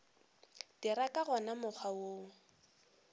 dira ka wona mokgwa wo